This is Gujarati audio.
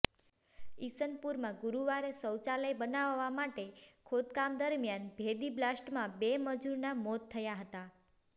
ઇસનપુરમાં ગુરુવારે શૌચાલય બનાવવા માટે ખોદકામ દરમિયાન ભેદી બ્લાસ્ટમાં બે મજુરના મોત થયા હતા